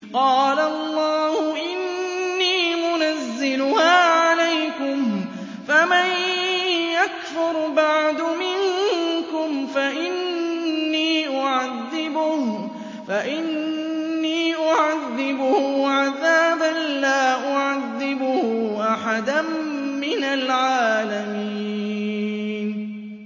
قَالَ اللَّهُ إِنِّي مُنَزِّلُهَا عَلَيْكُمْ ۖ فَمَن يَكْفُرْ بَعْدُ مِنكُمْ فَإِنِّي أُعَذِّبُهُ عَذَابًا لَّا أُعَذِّبُهُ أَحَدًا مِّنَ الْعَالَمِينَ